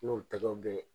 N'o tɛgɛw bɛ ye